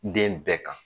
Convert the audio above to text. Den bɛɛ kan